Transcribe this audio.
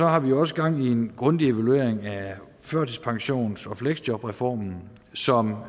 har vi også gang i en grundig evaluering af førtidspensions og fleksjobreformen som